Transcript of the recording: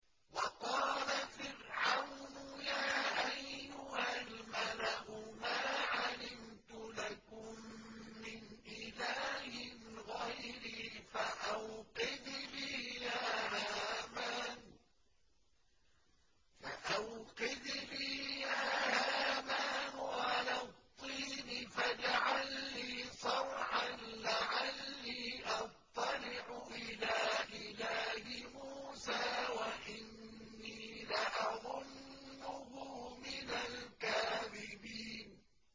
وَقَالَ فِرْعَوْنُ يَا أَيُّهَا الْمَلَأُ مَا عَلِمْتُ لَكُم مِّنْ إِلَٰهٍ غَيْرِي فَأَوْقِدْ لِي يَا هَامَانُ عَلَى الطِّينِ فَاجْعَل لِّي صَرْحًا لَّعَلِّي أَطَّلِعُ إِلَىٰ إِلَٰهِ مُوسَىٰ وَإِنِّي لَأَظُنُّهُ مِنَ الْكَاذِبِينَ